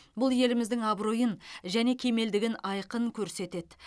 бұл еліміздің абыройын және кемелдігін айқын көрсетеді